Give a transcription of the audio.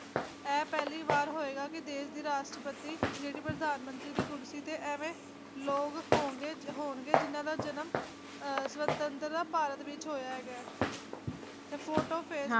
ਇਹ ਪਹਿਲੀ ਵਾਰ ਹੋਏਗਾ ਕਿ ਦੇਸ਼ ਦੀ ਰਾਸ਼ਟਰਪਤੀ ਜਿਹੜੀ ਕਿ ਪ੍ਰਧਾਨ ਮੰਤਰੀ ਦੀ ਕੁਰਸੀ ਤੇ ਐਂਵੇ ਲੋਗ ਹੋਂਗੇ ਹੋਣਗੇ ਜਿਨ੍ਹਾਂ ਦਾ ਜਨਮ ਆਹ ਸੁਵਤੰਤ੍ਰ ਭਾਰਤ ਵਿਚ ਹੋਇਆ ਹੈਗਾ ਤੇ